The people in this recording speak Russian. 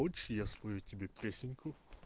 хочешь я спою тебе песенку